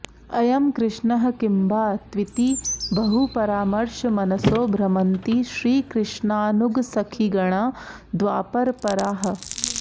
अयं कृष्णः किम्बा त्विति बहुपरामर्शमनसो भ्रमन्ति श्रीकष्णानुगसखिगणा द्वापरपराः